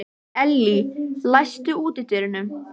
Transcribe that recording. Elly, læstu útidyrunum.